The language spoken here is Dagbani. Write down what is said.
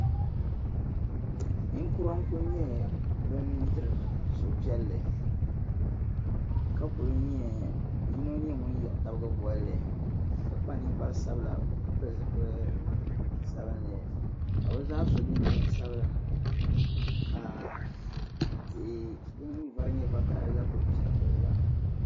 Ninkura ku nye bin' diri suhu piɛlli ka ku nya yino ŋun yihi tabili bolli ka kpa ninkpara sabila ka bi zaa so jinjam sabila ka tihi din vari nye vakahili la ku pe giliba.